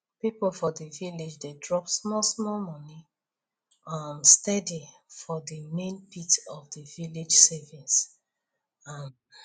people for village dey drop smallsmall money um steady for the main pit of the village savings um